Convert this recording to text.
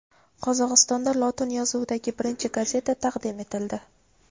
Qozog‘istonda lotin yozuvidagi birinchi gazeta taqdim etildi.